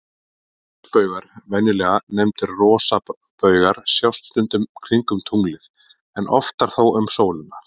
Ljósbaugar, venjulega nefndir rosabaugar, sjást stundum kringum tunglið, en oftar þó um sólina.